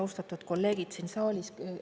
Austatud kolleegid siin saalis!